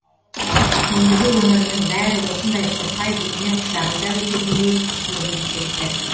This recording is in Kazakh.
ендігі өмірінің бәрі осындай сұрқай дүние құшағында өтетіндей көрініп кетті